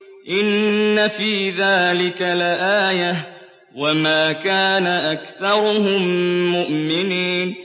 إِنَّ فِي ذَٰلِكَ لَآيَةً ۖ وَمَا كَانَ أَكْثَرُهُم مُّؤْمِنِينَ